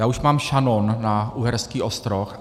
Já už mám šanon na Uherský Ostroh.